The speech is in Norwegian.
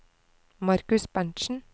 Markus Berntzen